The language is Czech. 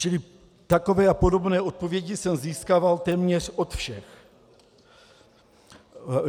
Čili takové a podobné odpovědi jsem získal téměř od všech.